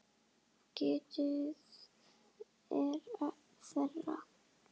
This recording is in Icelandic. Getið er þeirra.